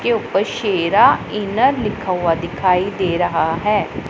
इसके ऊपर शेरा इनर लिखा हुआ दिखाई दे रहा है।